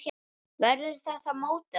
Verður þetta mótið hans?